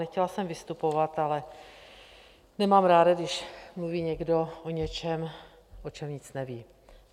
Nechtěla jsem vystupovat, ale nemám ráda, když mluví někdo o něčem, o čem nic neví.